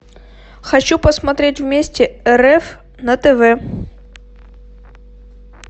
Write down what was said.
хочу посмотреть вместе рф на тв